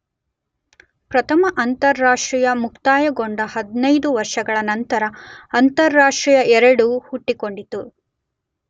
ಪ್ರಥಮ ಅಂತಾರಾಷ್ಟ್ರೀಯ ಮುಕ್ತಾಯಗೊಂಡ 15 ವರ್ಷಗಳ ಅನಂತರ ಅಂತಾರಾಷ್ಟ್ರೀಯ II ಹುಟ್ಟಿಕೊಂಡಿತು.